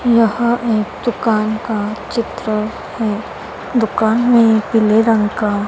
यह एक दुकान का चित्र है दुकान में पीले रंग का--